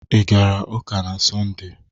Ị gara ụka n'Sọnde?